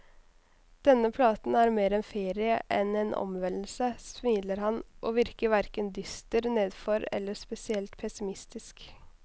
Denne platen er mer en ferie enn en omvendelse, smiler han, og virker hverken dyster, nedfor eller spesielt pessimistisk.